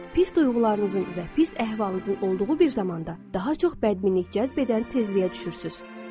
Pis duyğularınızın və pis əhvalınızın olduğu bir zamanda daha çox bədminlik cəzb edən tezliyə düşürsünüz.